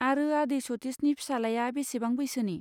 आरो आदै सतिशनि फिसालाया बेसेबां बैसोनि?